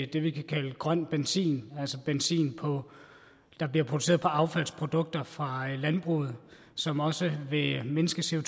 det vi kan kalde grøn benzin altså benzin der bliver produceret på affaldsprodukter fra landbruget som også vil mindske